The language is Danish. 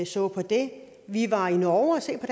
så på det vi var i norge og se på